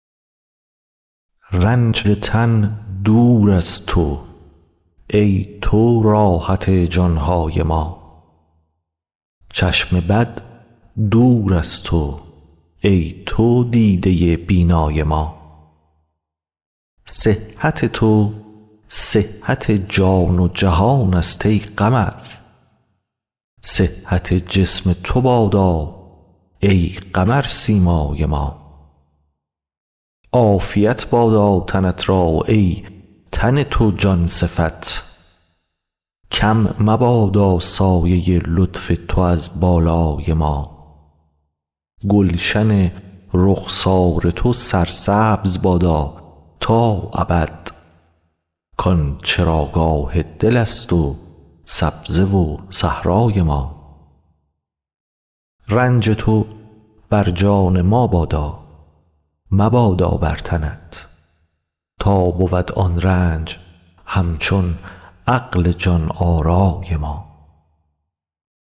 رنج تن دور از تو ای تو راحت جان های ما چشم بد دور از تو ای تو دیده بینای ما صحت تو صحت جان و جهانست ای قمر صحت جسم تو بادا ای قمرسیمای ما عافیت بادا تنت را ای تن تو جان صفت کم مبادا سایه لطف تو از بالای ما گلشن رخسار تو سرسبز بادا تا ابد کان چراگاه دلست و سبزه و صحرای ما رنج تو بر جان ما بادا مبادا بر تنت تا بود آن رنج همچون عقل جان آرای ما